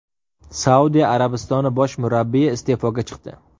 Saudiya Arabistoni bosh murabbiyi iste’foga chiqdi.